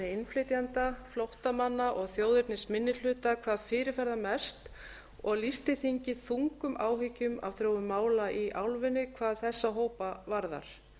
innflytjenda flóttamanna og þjóðernisminnihluta hvað fyrirferðarmest og lýsti þingið þungum áhyggjum af þróun mála í álfunni hvað þessa hópa varðar